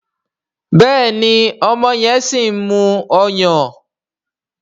Béèni ọmọ yen sìn mú ọyàn.